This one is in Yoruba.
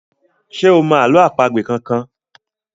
ṣe o mọ àlọ́ àpagbè kán kán?